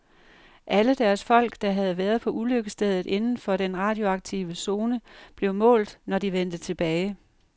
Alle deres folk, der havde været på ulykkesstedet inden for den radioaktive zone, blev målt, når de vendte tilbage.